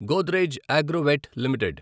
Godrej Agrovet limited